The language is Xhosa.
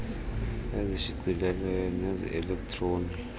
ezishicilelweyo neze elektroni